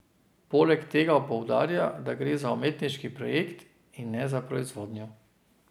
Poleg tega poudarja, da gre za umetniški projekt, in ne za proizvodnjo.